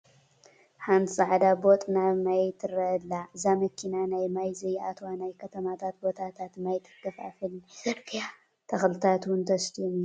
ሓንቲ ፃዕዳ ቦጥ ናይ ማይ ትረአ ኣላ፡፡ እዛ መኪና ናብ ማይ ዘይኣትዎ ናይ ከተማ ቦታታት ማይ ተከፋፍልን ናይ ፅርግያ ተኽልታት ውን ተስትዮም እያ?